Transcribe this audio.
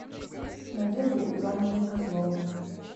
надеждой ивановной козловой